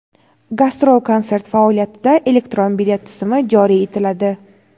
Gastrol-konsert faoliyatida elektron bilet tizimi joriy etiladi.